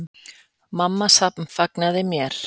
Mamma samfagnaði mér.